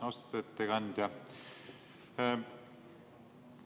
Austatud ettekandja!